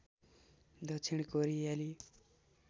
दक्षिण कोरियाली